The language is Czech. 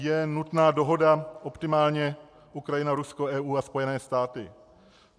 Je nutná dohoda optimálně Ukrajina, Rusko, EU a Spojené státy.